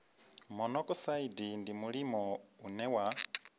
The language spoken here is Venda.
monokosaidi ndi mulimo une wa